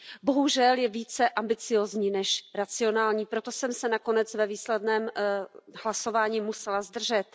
Bohužel je více ambiciózní než racionální, proto jsem se nakonec ve výsledném hlasování musela zdržet.